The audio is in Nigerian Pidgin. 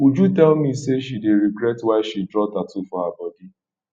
uju tell me say she dey regret why she draw tattoo for her body